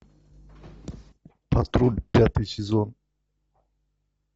патруль пятый сезон